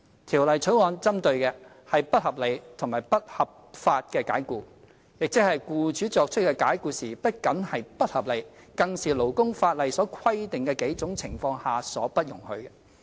《條例草案》針對的，是不合理及不合法的解僱，即僱主作出的解僱不僅是不合理，更是勞工法例所規定的數種情況下所不容許的。